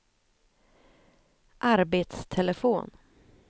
arbetstelefon